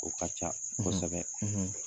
O ka ca ko kosɛbɛ,